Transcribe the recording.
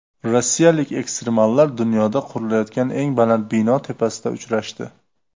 Rossiyalik ekstremallar dunyoda qurilayotgan eng baland bino tepasida uchrashdi .